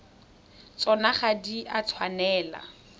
tsona ga di a tshwanela